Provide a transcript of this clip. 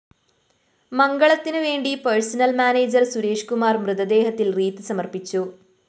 മംഗളത്തിന്‌ വേണ്ടി personnel‍ manager Sureshkumar‍ മൃതദേഹത്തില്‍ wreath സമര്‍പ്പിച്ചു